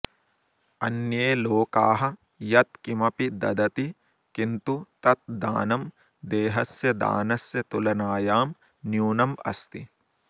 अन्ये लोकाः यत् किमपि ददति किन्तु तत् दानं देहस्य दानस्य तुलनायां न्यूनम् अस्ति